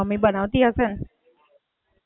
હેને, એટલે એવું જ ભાવે છે. pizza વીજા, junk ફૂડ નહીં.